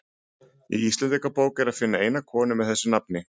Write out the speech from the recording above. Í Íslendingabók er að finna eina konu með þessu nafni.